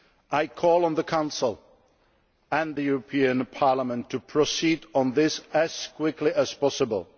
I call on the Council and the European Parliament to proceed on this as quickly as possible.